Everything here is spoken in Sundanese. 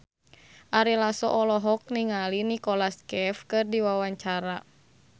Ari Lasso olohok ningali Nicholas Cafe keur diwawancara